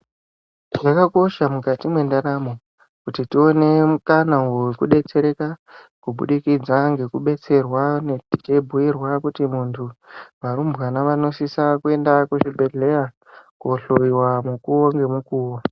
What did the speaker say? Zvakakosha mukati mendaramo kuti tione mukana vekubetsereka. Kubudikidza ngekubetsera tekubhuirwa kuti muntu varumbwana vanosisa kuenda kuchibhedhleya kohoiwa mukuvo ngemukuvo.